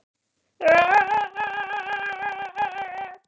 Svo ýtti